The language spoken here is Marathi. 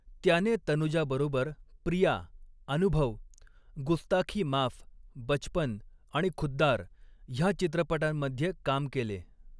त्याने तनुजाबरोबर 'प्रिया', 'अनुभव', 'गुस्ताखी माफ', 'बचपन' आणि 'खुद्दार' ह्या चित्रपटांमध्ये काम केले.